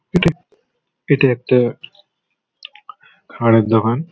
ইটা এটার একটা খাওয়ারের দোকান।